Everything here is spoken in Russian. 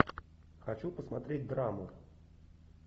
хочу посмотреть драму